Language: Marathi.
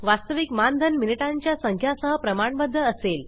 वास्तविक मानधन मिनिटांच्या संख्या सह प्रमाणबध्द असेल